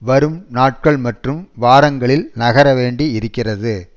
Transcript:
வரும் நாட்கள் மற்றும் வாரங்களில் நகர வேண்டி இருக்கிறது